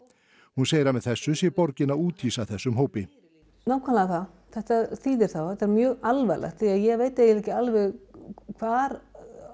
hún segir að með þessu sé borgin að úthýsa þessum hópi nákvæmlega það þetta þýðir það og þetta er mjög alvarlegt og ég veit eiginlega ekki alveg hvar